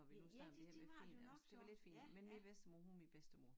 Når vi nu snakker om det her med fin ja det var lidt finere men min bedstemor hun var min bedstemor